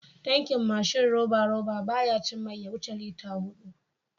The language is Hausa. Tankin mashin roba-roba, baya cin mai ya wuce litata huɗu.